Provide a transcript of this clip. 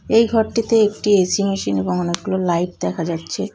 এই ঘরটিতে একটি এ.সি. মেশিন এবং অনেকগুলো লাইট দেখা যাচ্ছে ।